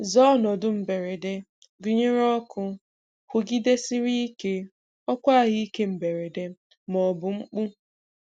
Zaa ọnọdụ mberede, gụnyere oku kwụgidesiri ike, oku ahụike mberede, ma ọ bụ mkpu.